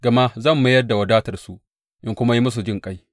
Gama zan mayar da wadatarsu in kuma yi musu jinƙai.